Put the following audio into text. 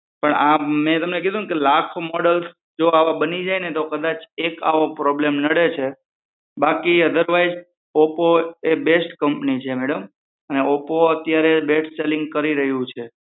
પણ મેં તમને કીધું ને કે લાખો મોડેલ જો આવા બની જાયને તો કદાચ એક આવો problem નડે છે બાકી અધરવાઈસ ઓપ્પો એક બેસ્ટ કમ્પની છે મેડમ અને ઓપ્પો અત્યારે બેસ્ટ સેલીગ કરી રહ્યું છે